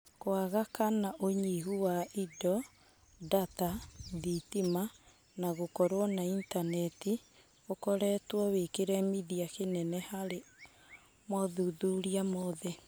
Kwaga kana ũnyihu wa indo, ndata, thitima, na gũkorwo na itaneti ũkoretwo wĩkĩremithia kĩnene harĩ mothuthuria mothe.